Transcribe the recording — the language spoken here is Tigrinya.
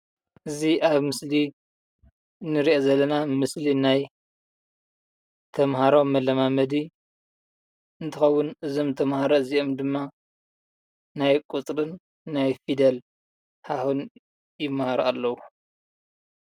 እዙይ ኣብ ምስሊ እንርእዮን ዘለናን ምስሊ ናይ ተማሃሮ መለማመዲ እንትከውን እዞም ተማህሮ እዚኦም ድማ ናይ ቁፅርን ናይ ፊደል ሀሁን ይማሃሩ ኣለው።